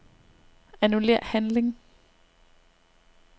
Annullér handling.